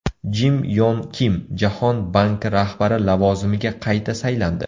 Jim Yon Kim Jahon banki rahbari lavozimiga qayta saylandi.